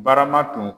Barama tun